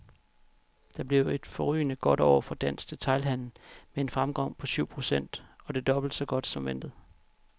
Det blev et forrygende godt år for dansk detailhandel med en fremgang på syv procent, og det er dobbelt så godt som ventet.